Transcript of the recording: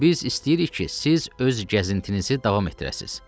Biz istəyirik ki, siz öz gəzintinizi davam etdirəsiz.